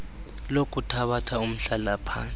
lokuthabatha umhlala phantsi